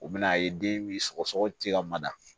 U bɛn'a ye den bi sɔgɔsɔgɔ ci ka mada